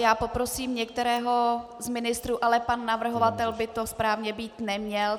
Já poprosím některého z ministrů, ale pan navrhovatel by to správně být neměl.